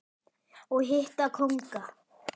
og hitta kónga.